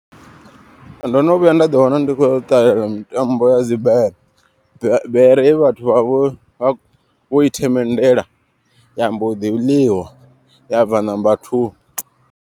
Ndo no vhuya nda ḓi wana ndi khou ṱalela mitambo ya dzibere. Bere ye vhathu vha vho vha vho i themendela ya mboḓi ḽiwa ya bva number two.